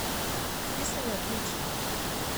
Zdi se mi odlično.